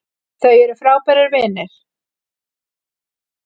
Þau eru frábærir vinir